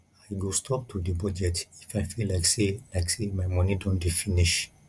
i go stop to dey budget if i feel like say like say my money don dey finish